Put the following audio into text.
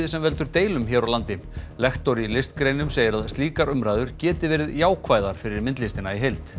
sem veldur deilum hér á landi lektor í listgreinum segir að slíkar umræður geti verið jákvæðar fyrir myndlistina í heild